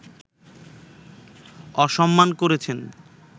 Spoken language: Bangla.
অসম্মান করেছেন